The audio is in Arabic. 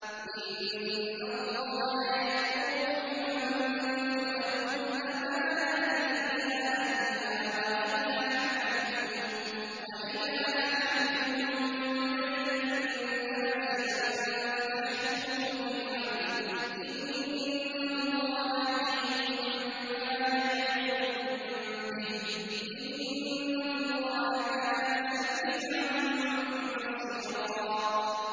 ۞ إِنَّ اللَّهَ يَأْمُرُكُمْ أَن تُؤَدُّوا الْأَمَانَاتِ إِلَىٰ أَهْلِهَا وَإِذَا حَكَمْتُم بَيْنَ النَّاسِ أَن تَحْكُمُوا بِالْعَدْلِ ۚ إِنَّ اللَّهَ نِعِمَّا يَعِظُكُم بِهِ ۗ إِنَّ اللَّهَ كَانَ سَمِيعًا بَصِيرًا